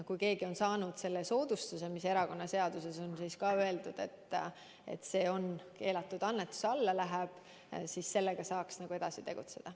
Kui keegi on saanud soodustuse, mis erakonnaseaduse kohaselt läheb keelatud annetuse alla, siis sellega saab tegeleda.